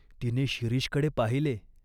तिने शिरीषकडे पाहिले.